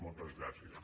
moltes gràcies